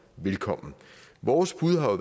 velkommen vores bud har